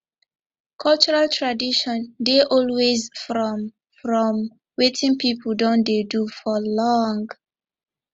cultural tradition dey always from from wetin pipo don dey do for long